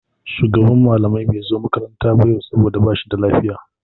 Shugaban malamai bai zo makaranta ba yau saboda ba shi da lafiya.